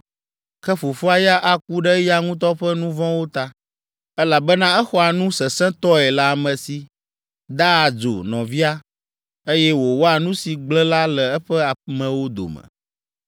Ke fofoa ya aku ɖe eya ŋutɔ ƒe nu vɔ̃wo ta, elabena exɔa nu sesẽtɔe le ame si, daa adzo nɔvia, eye wòwɔa nu si gblẽ la le eƒe amewo dome.